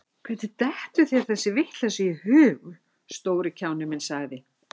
Hvernig dettur þér þessi vitleysa í hug, stóri kjáninn minn sagði